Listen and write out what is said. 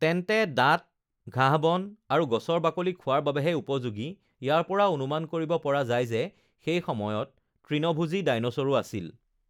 তেনে দাঁত ঘাঁহবন আৰু গছৰ বাকলি খোৱাৰ বাবেহে উপযোগী৷ ইয়াৰপৰা অনুমান কৰিব পৰা যায় যে সেই সময়ত তৃণভোজী ডাইনচৰো আছিল!